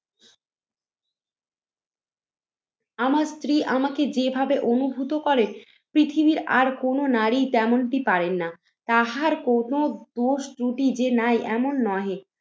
আমার স্ত্রী আমাকে যেভাবে অনুভূত করে পৃথিবীর আর কোনো নারী তেমনটি পারেন না। তাহার কোনো দোষ ত্রুটি যে নাই এমন নহে।